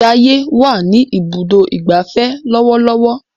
Jaiye wá ní Ibùdó ìgbafẹ́ lọwọlọwọ.